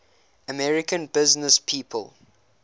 american businesspeople